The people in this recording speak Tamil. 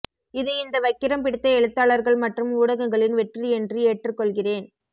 இது இந்த வக்கிரம் பிடித்த எழுத்தாளர்கள் மற்றும் ஊடகங்களின் வெற்றி என்று ஏற்றுக்கொள்கிறேன்